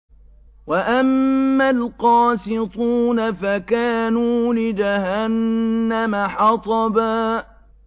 وَأَمَّا الْقَاسِطُونَ فَكَانُوا لِجَهَنَّمَ حَطَبًا